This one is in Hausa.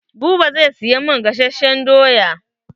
Buba zai siyan min gasashen doya.